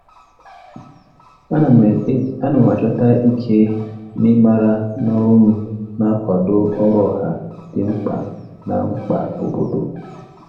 Ana m achọta ike n'ịmara na ọrụ m na-akwado ọrụ ọha dị mkpa na mkpa obodo.